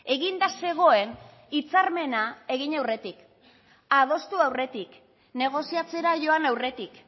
eginda zegoen hitzarmena egin aurretik adostu aurretik negoziatzera joan aurretik